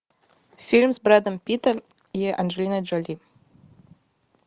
фильм с брэдом питтом и анджелиной джоли